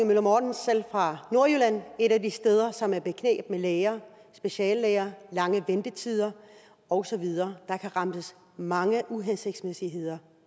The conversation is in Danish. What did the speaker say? møller mortensen selv fra nordjylland et af de steder som er i bekneb med læger speciallæger der lange ventetider og så videre der kan remses mange uhensigtsmæssigheder